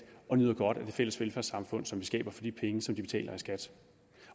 og nyder godt af det fælles velfærdssamfund som vi skaber for de penge som de betaler i skat